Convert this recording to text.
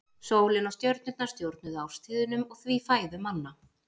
Sólin og stjörnurnar stjórnuðu árstíðunum og því fæðu manna.